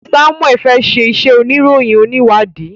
Samuel fè ṣe iṣé oníròyìn oniwadi.